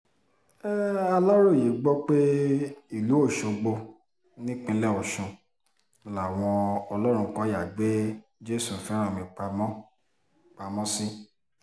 aláròye gbọ́ pé ìlú ọ̀ṣọ́gbó nípínlẹ̀ ọ̀sùn làwọn ọlọ́runkọ̀yà gbé jésùfẹ́ránmi pamọ́ pamọ́ sí